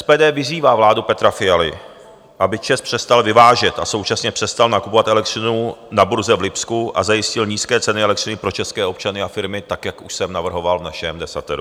SPD vyzývá vládu Petra Fialy, aby ČEZ přestal vyvážet a současně přestal nakupovat elektřinu na burze v Lipsku a zajistil nízké ceny elektřiny pro české občany a firmy, tak jak už jsem navrhoval v našem desateru.